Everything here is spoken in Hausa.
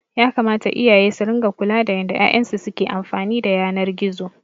Yakamata iyaye su ringa kula da yanda 'ya'yan su ke amfani da yanar gizo.